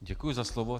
Děkuji za slovo.